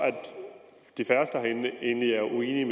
de færreste herinde egentlig er